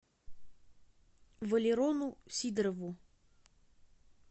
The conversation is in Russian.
валерону сидорову